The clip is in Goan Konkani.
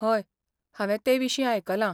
हय, हांवें ते विशीं आयकलां